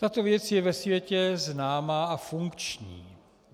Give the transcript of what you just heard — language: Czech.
Tato věc je ve světě známá a funkční.